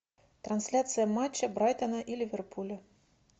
трансляция матча брайтона и ливерпуля